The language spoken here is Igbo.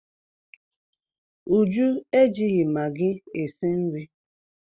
Uju ejighị magị esi nri.